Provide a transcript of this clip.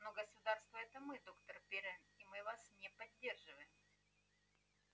но государство это мы доктор пиренн а мы вас не поддерживаем